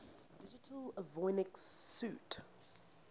digital avionics suite